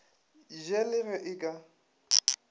je le ge e ka